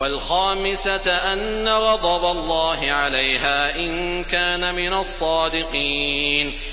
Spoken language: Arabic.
وَالْخَامِسَةَ أَنَّ غَضَبَ اللَّهِ عَلَيْهَا إِن كَانَ مِنَ الصَّادِقِينَ